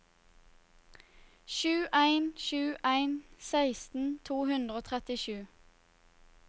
sju en sju en seksten to hundre og trettisju